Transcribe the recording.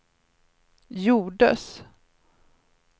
gjordes